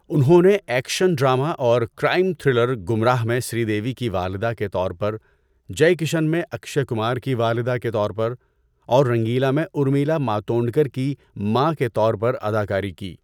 انہوں نے action drama اور کرائم تھرلر گمراہ میں سری دیوی کی والدہ کے طور پر، جئے کشن میں اکشئے کمار کی والدہ کے طور پر، اور رنگیلا میں ارمیلا ماتونڈکر کی ماں کے طور پر اداکاری کی۔